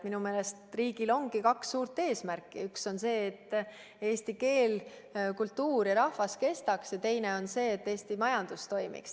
Minu meelest riigil ongi kaks suurt eesmärki: üks on see, et eesti keel, kultuur ja rahvas kestaks, teine on see, et Eesti majandus toimiks.